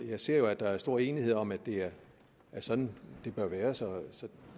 jeg ser jo at der er stor enighed om at det er sådan det bør være så så